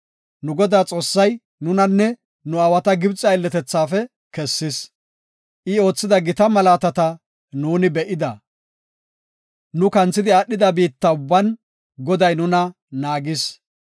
Nu Godaa Xoossay nunanne nu aawata Gibxe aylletethaafe kessis; I oothida gita malaatata be7ida. Nu kanthidi aadhida biitta ubban Goday nuna naagis.